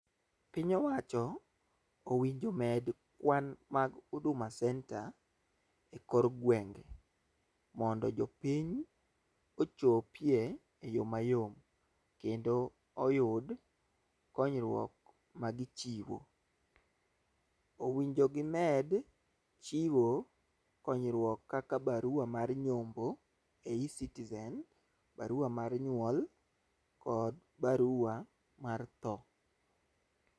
Piny owacho owinjo med kwan mag huduma center e kor gwenge mondo jopiny ochopie e mayom kendo oyud konyruok ma gichiwo . Owinjo gimed chiwo konyruok kaka barua mar nyombo e e-citizen, barua mar nyuol, kod barua mar tho.